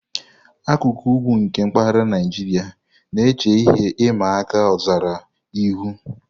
Akụkụ ugwu nke mpaghara Naijiria na-eche ihe ịma aka ọzara ihu.